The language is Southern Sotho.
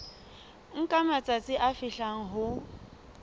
nka matsatsi a fihlang ho